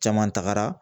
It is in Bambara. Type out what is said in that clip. Caman tagara